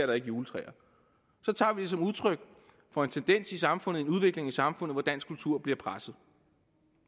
der ikke juletræer tager vi det som udtryk for en tendens i samfundet en udvikling i samfundet hvor dansk kultur bliver presset